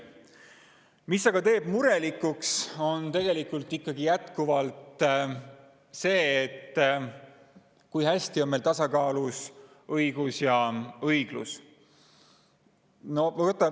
Mis aga teeb jätkuvalt murelikuks, on see, kui hästi on meil tasakaalus õigus ja õiglus.